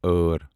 أر